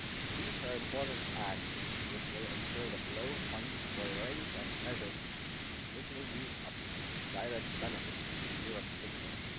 These are important acts which will ensure the flow of funds for a range of measures which will be of direct benefit to Europe's citizens.